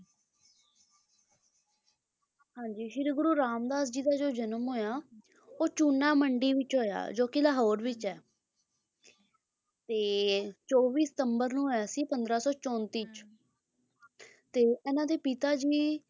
ਹਾਂਜੀ ਸ਼੍ਰੀ ਗੁਰੂ ਰਾਮਦਾਸ ਜੀ ਦੋ ਜਨਮ ਹੋਇਆ ਉਹ ਚੂਨਾ ਮੰਡੀ ਵਿੱਚ ਹੋਇਆ ਜੋ ਕੀ ਲਾਹੌਰ ਵਿੱਚ ਹੈ ਤੇ ਚੌਵੀ ਸਤੰਬਰ ਨੂੰ ਹੋਇਆ ਸੀ ਪੰਦਰਾਂ ਸੌ ਚੌਂਤੀ ਚ ਤੇ ਇਹਨਾਂ ਦੇ ਪਿਤਾ ਜੀ